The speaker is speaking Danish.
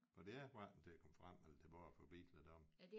Og det er ikke hverken til at komme frem og tilbage for biler deroppe